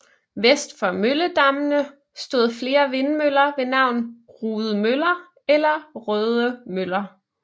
Vest for Mølledammene stod flere vindmøller ved navn Rudemøller eller Rødemøller